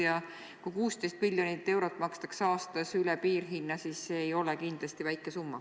Ja kui 16 miljonit eurot makstakse aastas üle piirhinna, siis see ei ole kindlasti väike summa.